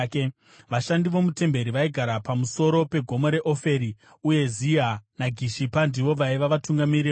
Vashandi vomutemberi vaigara pamusoro pegomo reOferi, uye Ziha naGishipa ndivo vaiva vatungamiri vavo.